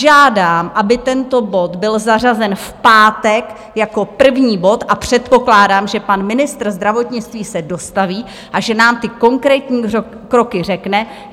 Žádám, aby tento bod byl zařazen v pátek jako první bod a předpokládám, že pan ministr zdravotnictví se dostaví a že nám ty konkrétní kroky řekne.